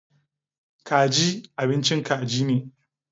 Kaji abincin kaji ne.